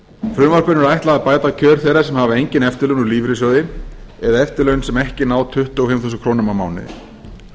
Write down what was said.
frumvarpinu er ætlað að bæta kjör þeirra sem hafa engin eftirlaun úr lífeyrissjóði eða eftirlaun sem ekki ná tuttugu og fimm þúsund krónur á mánuði